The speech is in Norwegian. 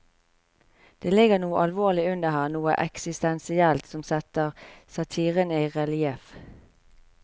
Det ligger noe alvorlig under her, noe eksistensielt, som setter satiren i relieff.